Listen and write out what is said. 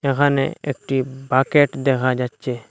এখানে একটি বাকেট দেখা যাচ্ছে।